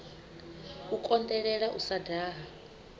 u konḓelela u sa daha